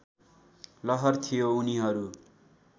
लहर थियो उनीहरू